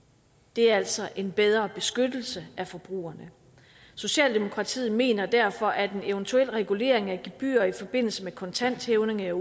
det er altså en bedre beskyttelse af forbrugerne socialdemokratiet mener derfor at en eventuel regulering af gebyrer i forbindelse med kontanthævninger